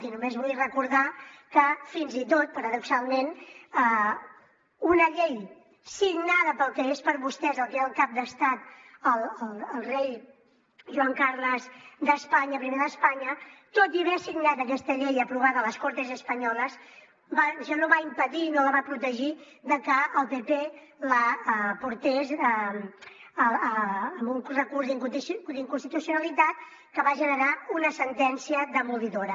i només vull recordar que fins i tot paradoxalment una llei signada pel que és per vostès el que era el cap d’estat el rei joan carles i d’espanya tot i haver signat aquesta llei aprovada a les cortes españolas això no va impedir i no la va protegir de que el pp posés un recurs d’inconstitucionalitat que va generar una sentència demolidora